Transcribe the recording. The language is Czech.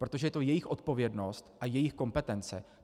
Protože to je jejich odpovědnost a jejich kompetence.